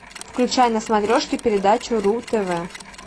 включай на смотрешке передачу ру тв